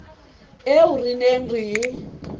eo re neng re e